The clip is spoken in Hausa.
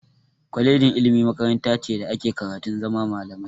Kolejin ilimi makaranta ce da ake karatun zama malami.